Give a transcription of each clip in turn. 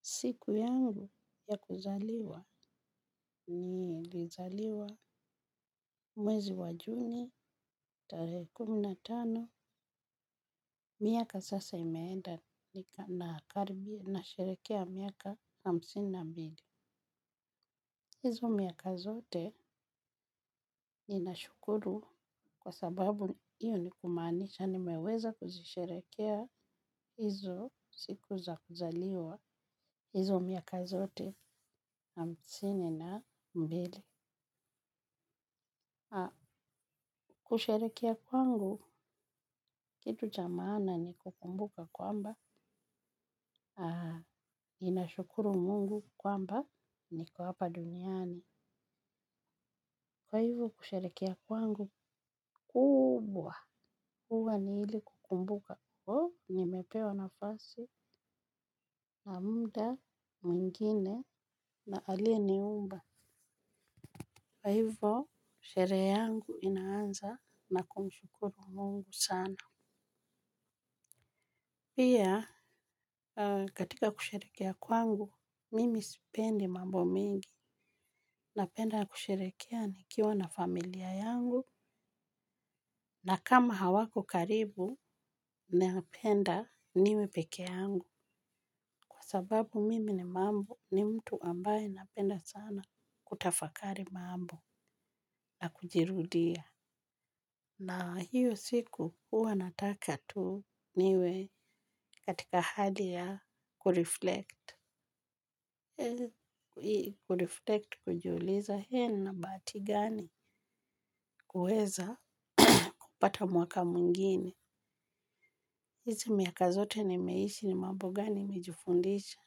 Siku yangu ya kuzaliwa nilizaliwa mwezi wa juni tarehe kumi na tano miaka sasa imeenda na karibia nasherekea miaka hamsini na mbili. Hizo miaka zote ninashukuru kwa sababu hiyo ni kumaanisha nimeweza kuzisherekea hizo siku za kuzaliwa hizo miaka zote hamsini na mbili. Haa kusherekea kwangu kitu cha maana ni kukumbuka kwamba ninashukuru mungu kwamba niko hapa duniani. Kwa hivyo kusherekea kwangu kubwa huwa ni hili kukumbuka. Kwa hivyo nimepewa na muda mwingine na aliye niumba. Kwa hivyo sherehe yangu inaanza na kumshukuru mungu sana. Pia katika kusherekea kwangu, mimi sipendi mambo mingi na penda kusherekea ni kiwa na familia yangu na kama hawako karibu na penda niwe peke yangu. Kwa sababu mimi ni mambo ni mtu ambaye na penda sana kutafakari mambo na kujirudia. Na hiyo siku huwa nataka tu niwe katika hali ya kureflect. Hei ku-reflect, kujiuliza, he nina bahati gani kuweza kupata mwaka mwingine. Hizi miaka zote nimeishi ni mambo gani nimejifundisha.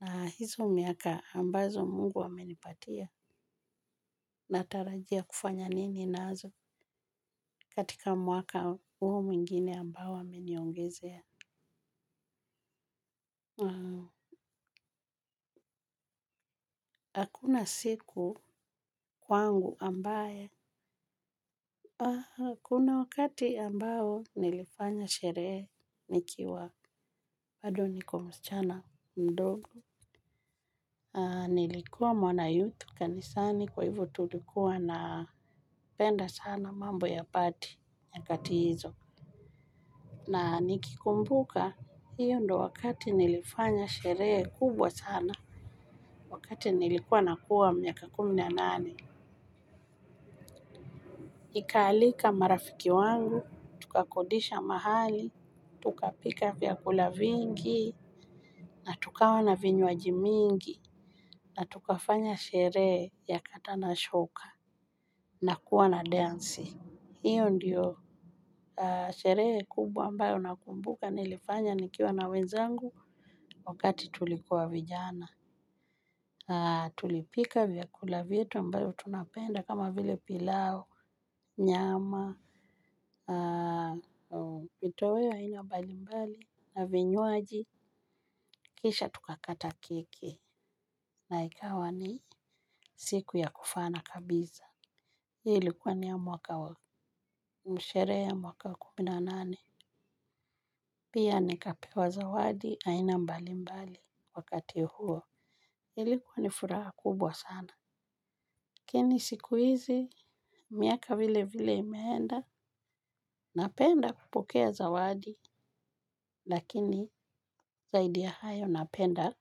Na hizo miaka ambazo mungu amenipatia. Natarajia kufanya nini nazo katika mwaka huo mwingine ambao ameniongezea. Hakuna siku kwangu ambaye. Kuna wakati ambao nilifanya sherehe nikiwa bado niko msichana mdogo. Nilikuwa mwana yutu kanisani kwa hivo tulikuwa na penda sana mambo ya pati wakati hizo. Na nikikumbuka hiyo ndo wakati nilifanya sherehe kubwa sana wakati nilikuwa nakuwa miaka kumi na nane. Nikaalika marafiki wangu tukakodisha mahali tukapika vyakula vingi na tukawa na vinywaji mingi na tukafanya sherehe ya kata na shoka na kuwa na dansi sherehe kubwa ambayo nakumbuka nilifanya nikiwa na wenzangu wakati tulikuwa vijana. Tulipika vyakula vyetu ambayo tunapenda kama vile pilau, nyama. Kitoweo aina mbali mbali na vinywaji kisha tukakata keki na ikawa ni siku ya kufana kabisa. Hii ilikuwa ni ya mwaka wa mshere mwaka wa kumi na nane. Pia nikapewa zawadi aina mbali mbali wakati huo. Ilikuwa ni furaha kubwa sana. Lakini siku hizi miaka vile vile imeenda napenda kupokea zawadi. Lakini zaidi ya hayo napenda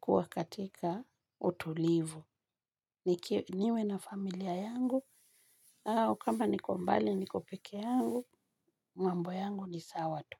kuwa katika utulivu. Niwe na familia yangu, au kama niko mbali niko peke yangu, mambo yangu ni sawa tu.